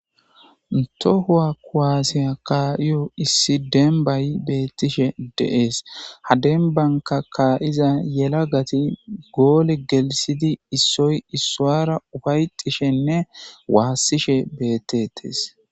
To kuwase ka'iyo issi dembay brtishe de'es ha dembanka ka'iza yelahati gole helsidi issoy issara ufayetishenne wasishe betetes